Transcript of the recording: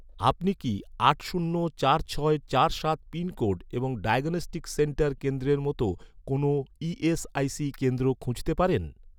আপনি কি আট শূন্য চার ছয় চার সাত পিনকোড এবং ডায়াগনস্টিক সেন্টার কেন্দ্রের মতো, কোনও ই.এস.আই.সি কেন্দ্র খুঁজতে পারেন?